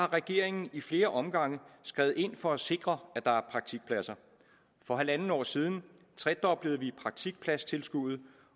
regeringen i flere omgange skredet ind for at sikre at der er praktikpladser for halvandet år siden tredoblede vi praktikpladstilskuddet